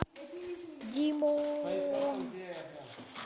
димооон